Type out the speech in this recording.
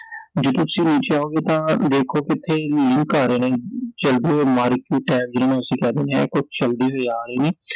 ਜਿਥੇ ਤੁਸੀਂ ਨੀਚੇ ਆਓਂਗੇ ਤਾਂ ਦੇਖੋਂਗੇ ਕਿ